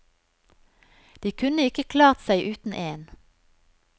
De kunne ikke klart seg uten én.